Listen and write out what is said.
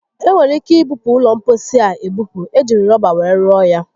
Enwere ike ibupu ụlọ mposi a ebupu. E jiri rọba were rụọ ya